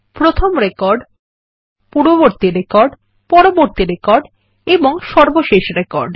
প্রথম রেকর্ড পূর্ববর্তী রেকর্ড পরবর্তী রেকর্ড এবং সর্বশেষ রেকর্ড